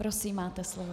Prosím, máte slovo.